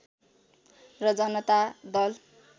र जनता दल